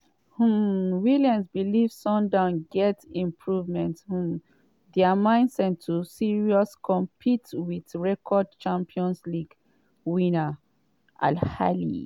um williams believe sundowns gatz improve um dia mindset to seriously compete wit record champions league winners al ahly.